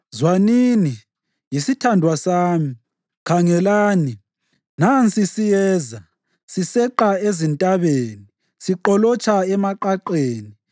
Zwanini! Yisithandwa sami! Khangelani! Nansi siyeza, siseqa ezintabeni siqolotsha emaqaqeni.